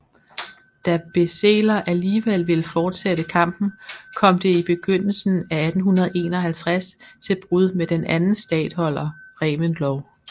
Da Beseler alligevel ville fortsætte kampen kom det i begyndelsen af 1851 til brud med den anden statholder Reventlow